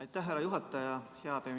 Aitäh, hea juhataja!